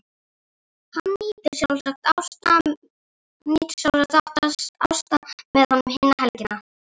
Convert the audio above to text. Hann nýtur sjálfsagt ásta með honum hina helgina.